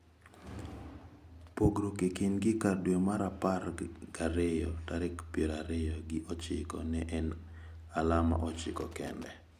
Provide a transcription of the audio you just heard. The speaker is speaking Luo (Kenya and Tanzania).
Pogruok e kindgi kar dwe mar Apar gi ariyo tarik pier ariyo gi ochiko ne en alama ochiko kende.